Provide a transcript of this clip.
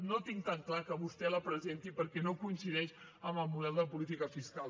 no tinc tan clar que vostè la presenti perquè no coincideix amb el model de política fiscal